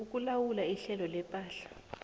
ukulawula ihlelo lepahla